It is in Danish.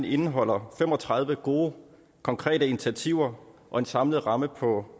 indeholder fem og tredive gode konkrete initiativer og en samlet ramme på